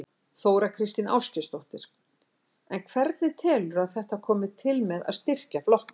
Þóra Kristín Ásgeirsdóttir: En hvernig telurðu að þetta komi til með að styrkja flokkinn?